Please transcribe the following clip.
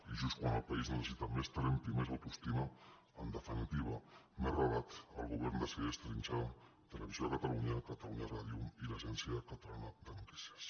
i just quan el país necessita més tremp i més autoestima en definitiva més relat el govern decideix trinxar televisió de catalunya catalunya ràdio i l’agència catalana de notícies